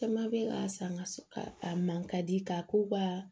Caman bɛ ka sanga a man ka di k'a ko ba